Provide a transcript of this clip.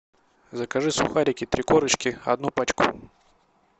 закажи сухарики три корочки одну пачку